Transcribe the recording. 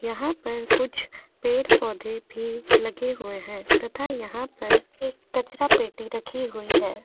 यहां पर कुछ पेड़-पौधे भी लगे हुए हैं तथा यहां पर एक कचरा पेटी रखी हुई है।